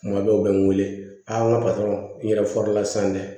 Kuma bɛɛ u bɛ n wele a n ka yɛrɛ dɛ